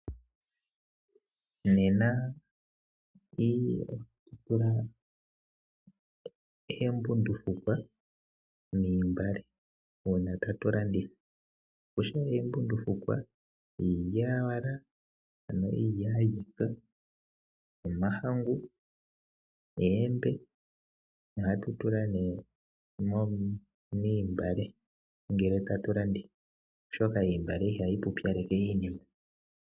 Nena ohatu tula oombundufukwa moontungwa ngele tatu landitha. Kutya nduno oombundufukwa, iilyaalyaaka, omahangu noombe ohatu tula nduno moontungwa ngele tatu landitha, oshoka oontungwa ihadhi pupyaleke iinima.